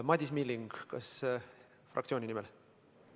Madis Milling, kas fraktsiooni nimel?